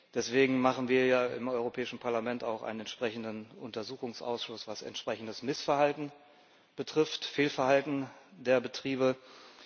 Deswegen machen wir ja im Europäischen Parlament auch einen entsprechenden Untersuchungsausschuss, was entsprechendes Missverhalten, Fehlverhalten der Betriebe betrifft.